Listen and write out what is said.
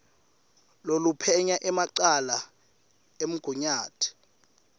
loluphenya emacala emgunyati